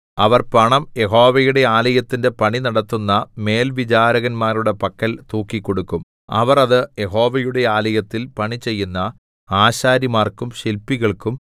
അവർ പണം യഹോവയുടെ ആലയത്തിന്റെ പണി നടത്തുന്ന മേൽവിചാരകന്മാരുടെ പക്കൽ തൂക്കിക്കൊടുക്കും അവർ അത് യഹോവയുടെ ആലയത്തിൽ പണിചെയ്യുന്ന ആശാരിമാർക്കും ശില്പികൾക്കും